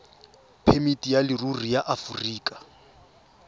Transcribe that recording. phemiti ya leruri ya aforika